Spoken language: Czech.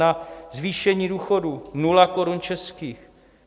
Na zvýšení důchodů 0 korun českých.